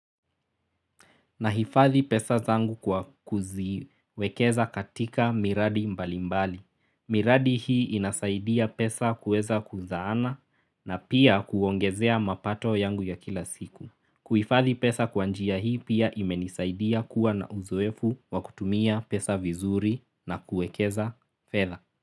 Nahifadhi pesa zangu kwa kuziwekeza katika miradi mbalimbali. Miradi hii inasaidia pesa kuweza kuzaana na pia kuongezea mapato yangu ya kila siku. Kuhifadhi pesa kwa njia hii pia imenisaidia kuwa na uzoefu wakutumia pesa vizuri na kuekeza fedha.